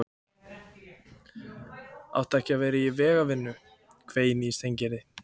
Áttu ekki að vera í vegavinnu? hvein í Steingerði.